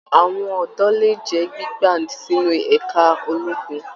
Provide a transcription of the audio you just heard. Àwọn ọdọ lè jẹ gbígba sínú ẹka ológun.